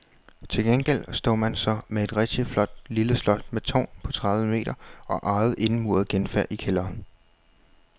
Til gengæld står man så med et rigtigt flot lille slot med tårn på tredive meter og eget indemuret genfærd i kælderen.